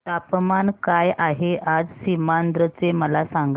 तापमान काय आहे आज सीमांध्र चे मला सांगा